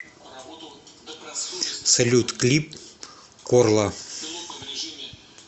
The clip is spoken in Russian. салют клип корла